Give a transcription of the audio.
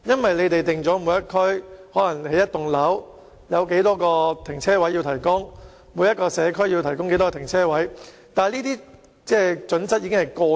政府規定，每個地區、每棟大廈和每個社區均須提供某個數量的停車位，但這些準則已經過時。